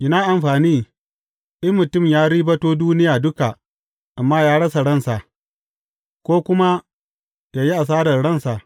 Ina amfani, in mutum ya ribato duniya duka, amma ya rasa ransa, ko kuma ya yi hasarar ransa.